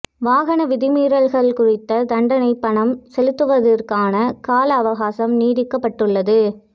வாகன விதி மீறல்கள் குறித்த தண்டப் பணம் செலுத்துவதற்கான கால அவகாசம் நீடிக்கப்பட்டுள்ளது